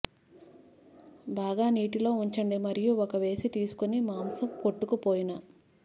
బాగా నీటిలో ఉంచండి మరియు ఒక వేసి తీసుకుని మాంసం కొట్టుకుపోయిన